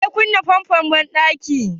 Wa ya kunna famfon banɗakin?